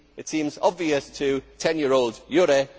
it seems obvious to 10 year old Jurre.